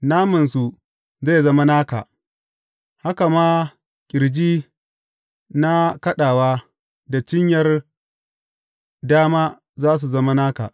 Namansu zai zama naka, haka ma ƙirji na kaɗawa da cinyar dama za su zama naka.